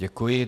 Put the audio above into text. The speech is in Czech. Děkuji.